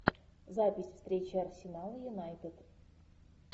запись встречи арсенал юнайтед